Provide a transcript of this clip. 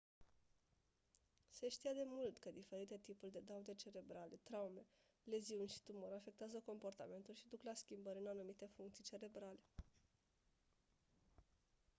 se știa de mult că diferite tipuri de daune cerebrale traume leziuni și tumori afectează comportamentul și duc la schimbări în anumite funcții cerebrale